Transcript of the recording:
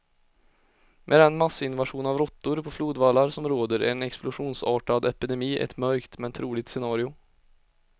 Med den massinvasion av råttor på flodvallarna som råder är en explosionsartad epidemi ett mörkt, men troligt scenario.